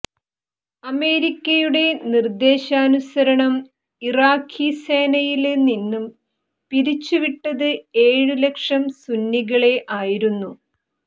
അമേരിക്കയുടെ നിര്ദേശാനുസരണം ഇറാഖീ സേനയില് നിന്നും പിരിച്ചുവിട്ടത് ഏഴ് ലക്ഷം സുന്നികളെ ആയിരുന്നു